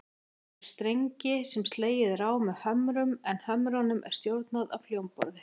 Það hefur strengi sem slegið er á með hömrum, en hömrunum er stjórnað af hljómborði.